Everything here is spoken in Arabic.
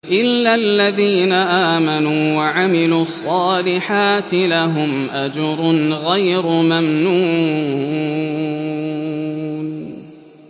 إِلَّا الَّذِينَ آمَنُوا وَعَمِلُوا الصَّالِحَاتِ لَهُمْ أَجْرٌ غَيْرُ مَمْنُونٍ